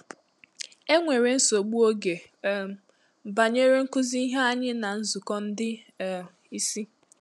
Enwere nsogbu ògè um banyere nkụzi ihe ànyị ná nzukọ ndị um ìsì.